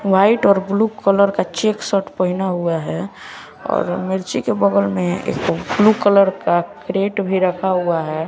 White और blue colour का check shirt पहना हुआ है और मिर्ची के बगल में एक ब्लू कलर का कैरेट भी रखा हुआ है।